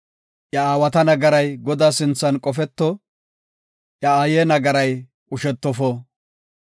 Iya aawata nagaray Godaa sinthan qofeto; iya aaye nagaray qushetofo.